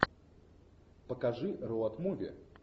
покажи роад муви